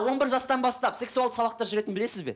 он бір жастан бастап сексуалды сабақтар жүретінін білесіз бе